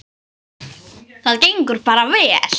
Það gengur bara vel.